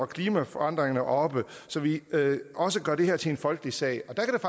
klimaforandringer oppe så vi også gør det her til en folkesag der kan